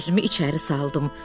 Özümü içəri saldım.